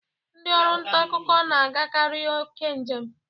Ndị ọrụ nta akụkọ na agakari oke njem.